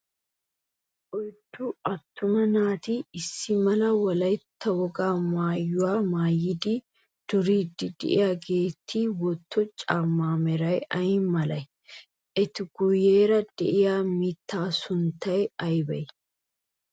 Oyddu attuma naati issi mala wolaytta wogaa maayuwa maayidi duriiddi de"iyaageeti wotto caammawu meray ay malee? Eta guyyeera de"iyaa mittaa sunttay aybee?